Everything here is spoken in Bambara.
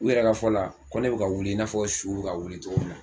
U yɛrɛ ka fɔ la ko ne bɛ ka wili i n'a fɔ suw bɛka wili cogo min na